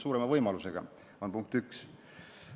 See oli punkt 1.